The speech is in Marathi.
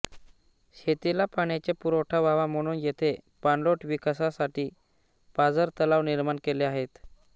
शेतीला पाण्याचा पुरवठा व्हावा म्हणून येथे पाणलोट विकासासाठी पाझर तलाव निर्माण केले आहेत